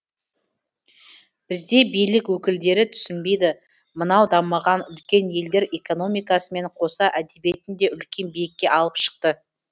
бізде билік өкілдері түсінбейді мынау дамыған үлкен елдер экономикасымен қоса әдебиетін де үлкен биікке алып шықты